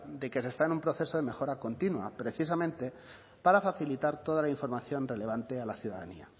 de que se está en un proceso de mejora continua precisamente para facilitar toda la información relevante a la ciudadanía